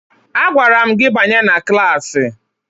Agwara m gị banye na klaasị!